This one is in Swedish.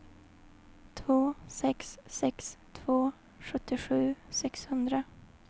två sex sex två sjuttiosju sexhundra